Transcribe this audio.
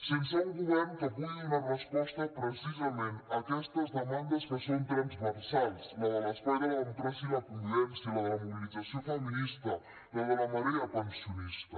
sense un govern que pugui donar resposta precisament a aquestes demandes que són transversals la de l’espai de la democràcia i la convivència la de la mobilització feminista la de la marea pensionista